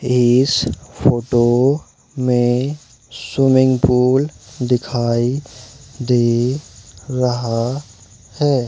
इस फोटो में swimming pool दिखाई दे रहा है।